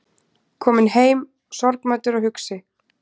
Kominn heim sorgmæddur og hugsi